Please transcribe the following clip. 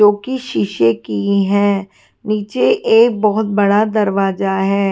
जो कि शीशे की हैं नीचे एक बहुत बड़ा दरवाजा है।